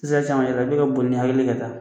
Isɛ san yɛrɛ dɔw bɛ boli ni hakili ye ka taa